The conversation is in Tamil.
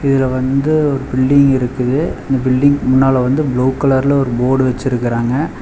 இதுல வந்து ஒரு பில்டிங் இருக்குது அந்த பில்டிங்க்கு முன்னால வந்து ப்ளூ கலர்ல ஒரு போர்டு வச்சிருக்காங்க.